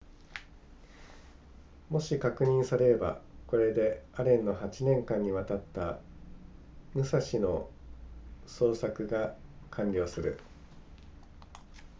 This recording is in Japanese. もし確認されればこれでアレンの8年間にわたった武蔵の捜索が完了する